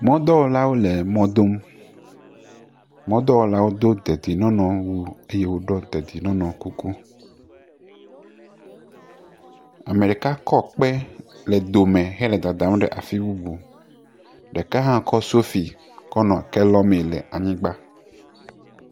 Mɔdɔwɔlawo le mɔdom, mɔdɔwɔlawo do dedinɔnɔwu eye wodo dedienɔnɔkuku, ame ɖeka kɔ kpe le dome kɔ le dadam ɖe afi bubu, ɖeka hã kɔ sofi kƒ nɔ ke lɔmee le anyigba.